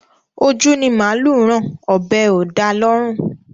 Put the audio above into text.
Ojú ni màálù rán, ọ̀bẹ́ ò da lọ́rùn